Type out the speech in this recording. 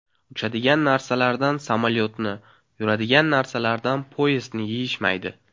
Uchadigan narsalardan samolyotni, yuradigan narsalardan poyezdni yeyishmaydi!